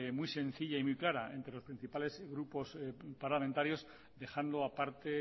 muy sencilla y muy clara entre los principales grupos parlamentarios dejando aparte